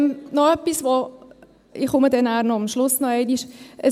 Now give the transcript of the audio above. Noch etwas – ich komme dann am Schluss noch einmal nach vorne: